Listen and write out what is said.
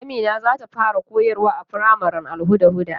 Amina zata fara koyarwa a makarantar firamaren Al-hudda.